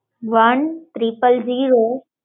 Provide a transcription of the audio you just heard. one triple zero